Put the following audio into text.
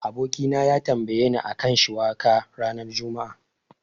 Abokina ya tambayeni a kan shiwaka ranar juma'a.